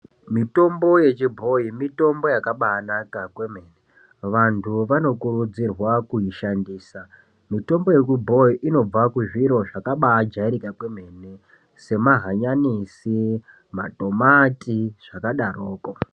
Mitombo yechibhoyi mitombo yakabanaka kwemene vantu vanokurudzirwa kuishandisa . Mitombo yechibhoyi unobva kuzviro zvakambajairika kwemene semahanyanisi, matomati zvakadaroko.